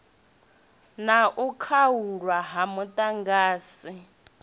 na u khaulwa ha muḓagasi